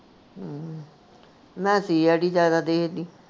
ਹਮ ਮੈਂ CID ਜਿਆਦਾ ਦੇਖਦੀ